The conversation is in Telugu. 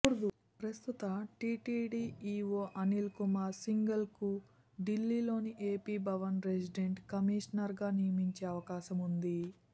ప్రస్తుత టీటీడీ ఈవో అనిల్కుమార్ సింఘాల్ను ఢిల్లి లోని ఏపీ భవన్ రెసిడెంట్ కమిషనర్గా నియమించే అవకాశం ఉంది